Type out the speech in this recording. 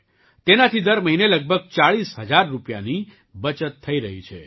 તેનાથી દર મહિને લગભગ 40000 રૂપિયાની બચત થઈ રહી છે